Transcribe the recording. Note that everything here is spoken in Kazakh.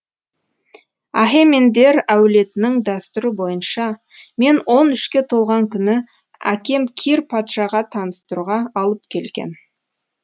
ахемендер әулетінің дәстүрі бойынша мен он үшке толған күні әкем кир патшаға таныстыруға алып келген